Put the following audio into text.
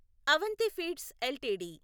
Avanthi feeds LTD